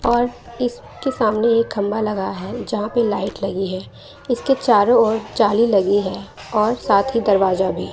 और इसके सामने एक खंभा लगा है जहां पे लाइट लगी है इसके चारों ओर जाली लगी है और साथ ही दरवाजा भी--